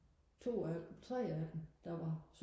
to af dem tre af dem der var